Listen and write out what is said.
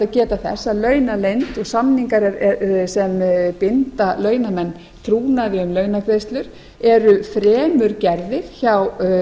að launaleynd og samningar sem binda launamenn trúnaði um launagreiðslur eru fremur gerðir hjá